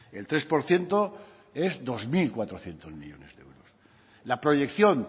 el tres por ciento es dos mil cuatrocientos millónes de euros la proyección